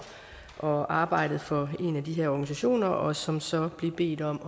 og arbejdet for en af de her organisationer og som så blev bedt om